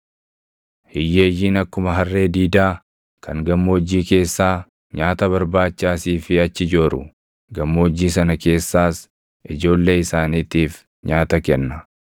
Hiyyeeyyiin akkuma harree diidaa kan gammoojjii keessaa nyaata barbaacha asii fi achi jooru; gammoojjii sana keessaas ijoollee isaaniitiif nyaata kenna.